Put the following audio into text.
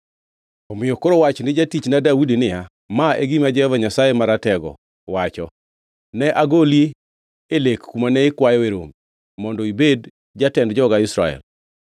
“Omiyo koro wach ni jatichna Daudi niya, ‘Ma e gima Jehova Nyasaye Maratego wacho kama: Ne agoli e lek kuma ne ikwayoe rombe mondo ibed jatend joga Israel.